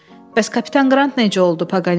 Bəs kapitan Qrant necə oldu, Paqanel soruşdu.